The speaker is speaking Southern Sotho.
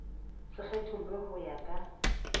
se kgethollwe ho ya ka